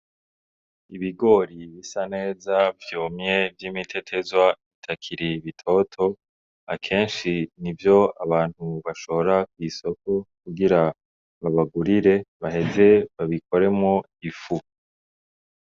Ibigori bisa neza vyomye vy'imitetezwa bitakiri ibitoto akenshi ni vyo abantu bashora kw'isoko kugira babagurire baheze babikoremo ifu.